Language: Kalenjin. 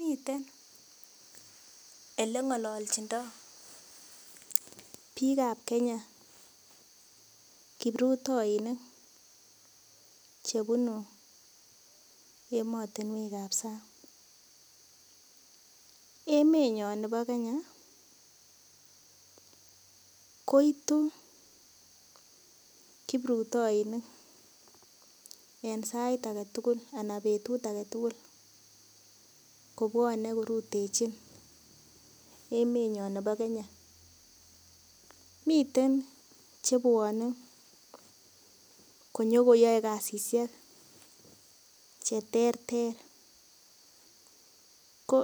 Miten ele ngololchindo biik ap Kenya kiprutainik chebunu emotunwek ap sang emet nyo nebo Kenya koitu kipruitoinik eng sait ake tukul anan betut ake tukul kobuone korutechi emet nyo miten chebuone konyokoyoe kasishek che ter ter ko